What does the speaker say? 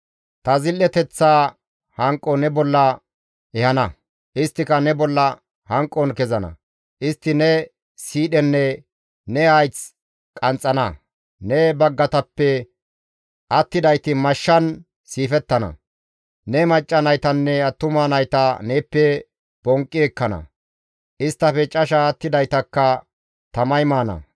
Ta zil7eteththa hanqo ne bolla ehana; isttika ne bolla hanqon kezana; istti ne siidhenne ne hayth qanxxana; ne baggatappe attidayti mashshan siifettana; ne macca naytanne attuma nayta neeppe bonqqi ekkana; isttafe casha attidaytakka tamay maana.